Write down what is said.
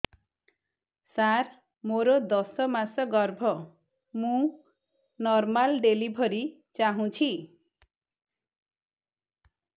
ସାର ମୋର ଦଶ ମାସ ଗର୍ଭ ମୁ ନର୍ମାଲ ଡେଲିଭରୀ ଚାହୁଁଛି